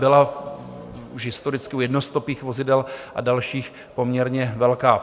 Byla už historicky u jednostopých vozidel a dalších poměrně velká.